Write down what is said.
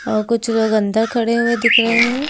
औ कुछ लोग अंदर खड़े हुए दिख रहे हैं।